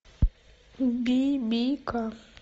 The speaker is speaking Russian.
бибика